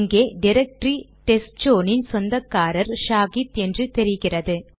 இங்கே டிரக்டரி டெஸ்ட்சோன் இன் சொந்தக்காரர் ஷாஹித் என்று தெரிகிறது